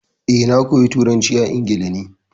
Eh, na koya turanci a Ingila ne.